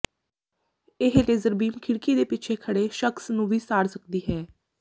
ਇਹ laser beam ਖਿੜਕੀ ਦੇ ਪਿੱਛੇ ਖੜੇ ਸ਼ਖਸ ਨੂੰ ਵੀ ਸਾੜ ਸਕਦੀ ਹੈ